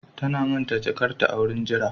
Ta manta da jakarta a wurin jira